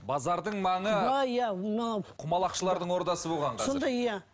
базардың маңы иә иә мына құмалақшылардың ордасы болған сонда иә